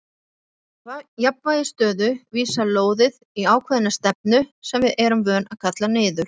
Í jafnvægisstöðu vísar lóðið í ákveðna stefnu sem við erum vön að kalla niður.